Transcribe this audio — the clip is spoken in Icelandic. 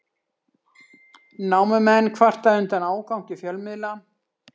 Námumenn kvarta undan ágangi fjölmiðla